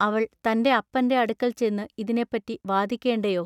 അവൾ തന്റെ അപ്പന്റെ അടുക്കൽ ചെന്നു ഇതിനെപ്പറ്റി വാദിക്കേണ്ടേയൊ.